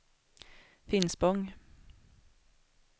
Finspång